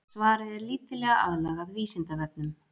Svarið er lítillega aðlagað Vísindavefnum.